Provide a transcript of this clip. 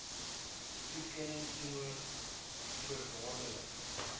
toekenning teenoor voorwaardelike